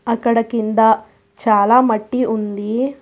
ఇక్కడ కింద చాలా మట్టి ఉంది.